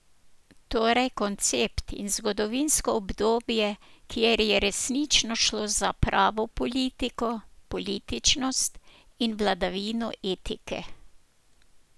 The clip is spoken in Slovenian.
Torej koncept in zgodovinsko obdobje, kjer je resnično šlo za pravo politiko, političnost in vladavino etike.